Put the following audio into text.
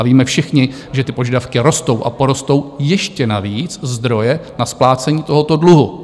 A víme všichni, že ty požadavky rostou a porostou ještě navíc zdroje na splácení tohoto dluhu.